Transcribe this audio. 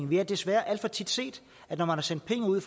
vi har desværre alt for tit set at når man har sendt penge ud